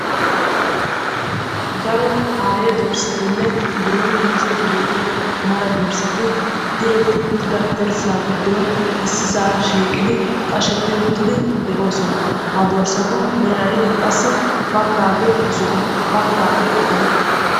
daro aayye dorssatinne biron diccide de'iyaa mara dorssati issisa shiiqi diretti uttidi de'oosona; ha dorssatu meray qassi baggage zo'o baggaage bootta.